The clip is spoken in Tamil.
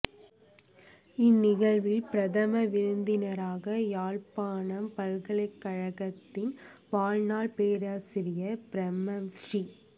இந் நிகழ்வில் பிரதம விருந்தினராக யாழ்ப்பாணம் பல் கலைக்கழகத்தின் வாழ்நாள் பேராசிரியர் பிரம்மஸ்ரீ